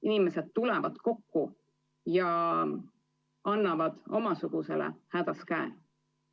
Inimesed tulevad kokku ja annavad omasugusele hädas käe.